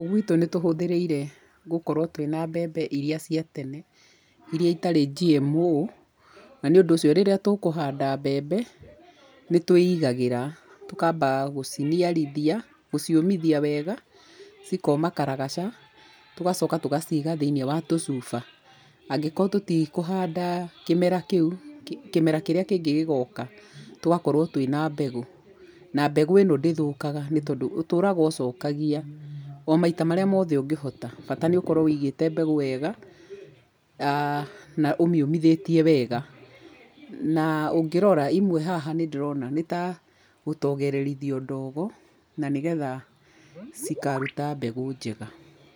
Gwitũ nĩtũhũthĩrĩire gũkorwo twĩna mbembe iria cita tene ,iria itarĩ GMO na nĩ ũndũ ũcio rĩrĩa tũkũhanda mbembe, nĩtwĩigagĩra tũkamba gũciniarithia, gũciũmithia wega cikoma karagaca, tũgacoka tũgacĩiga thĩiniĩ wa tũcuba, angĩkorwo tũtikũhanda kĩmera kĩu, kĩmera kĩrĩa kĩngĩ gĩgoka tũgakorwo twina mbegũ, na mbegũ ino ndĩthũkaga nĩ tondũ ũtũraga ũcokagia omaita marĩa mothe ũngĩhota bata nĩ ũkorwo wĩigĩte mbegũ wega aa na ũmĩ ũmithĩtie wega, na ũngĩrora imwe haha nĩndĩrona ta rĩ gũtoge rerĩthio ndogo, na nĩgetha cikarũta mbegũ njega.